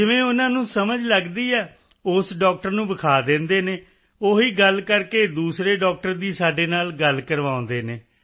ਜਿਵੇਂ ਉਨ੍ਹਾਂ ਨੂੰ ਨਹੀਂ ਸਮਝ ਲੱਗਦੀ ਏ ਇਸ ਡਾਕਟਰ ਨੂੰ ਵਿਖਾ ਦਿੰਦੇ ਨੇ ਉਹ ਹੀ ਗੱਲ ਕਰਕੇ ਦੂਸਰੇ ਡਾਕਟਰ ਦੀ ਸਾਡੇ ਨਾਲ ਗੱਲ ਕਰਵਾਉਂਦੇ ਨੇ